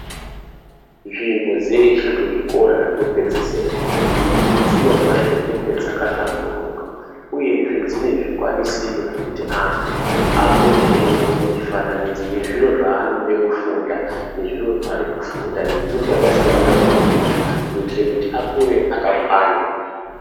Nzvimbo dzeshe dzezvikora zvekupedzisira dzino fanira kunge dzakahlamburuka uyezve dzine mifananidzo wekuti antu apote eiona zviro zvanenge achida kufunda nezviro zvachasangana nazvo munyika kuitira kuti akure akakwana.